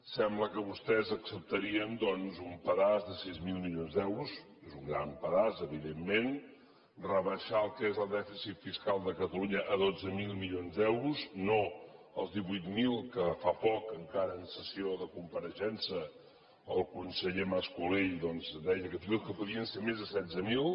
sembla que vostès acceptarien doncs un pedaç de sis mil milions d’euros és un gran pedaç evidentment rebaixar el que és el dèficit fiscal de catalunya a dotze mil milions d’euros no els divuit mil que fa poc encara en sessió de compareixença el conseller mascolell doncs deia que fins i tot podien ser més de setze mil